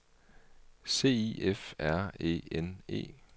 C I F R E N E